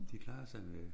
De klarede sig med